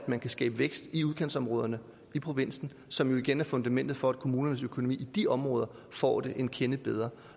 man kan skabe vækst i udkantsområderne i provinsen som jo igen er fundamentet for at kommunernes økonomi i de områder får det en kende bedre